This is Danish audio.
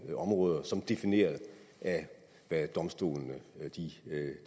områder som defineret af hvad domstolene